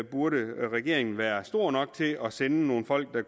burde regeringen være stor nok til at sende nogle folk der